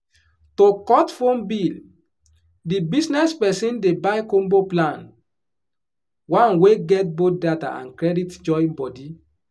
to cut phone bill the business person dey buy combo plan — one wey get both data and credit join body.